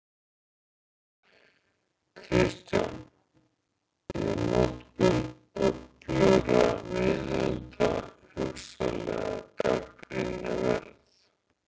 Kristján: Er notkun öflugra veiðihunda hugsanlega gagnrýni verð?